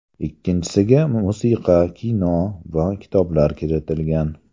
Ikkinchisiga musiqa, kino va kitoblar kiritilgan.